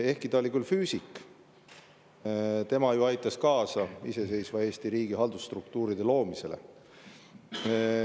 Ehkki ta oli füüsik, aitas tema ju kaasa iseseisva Eesti riigi haldusstruktuuride loomisele.